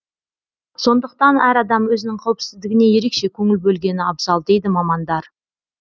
сондықтан әр адам өзінің қауіпсіздігіне ерекше көңіл бөлгені абзал дейді мамандар